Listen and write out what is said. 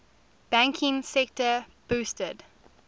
banking sector boasted